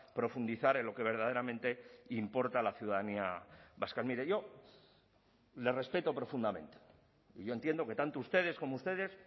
profundizar en lo que verdaderamente importa a la ciudadanía vasca mire yo le respeto profundamente yo entiendo que tanto ustedes como ustedes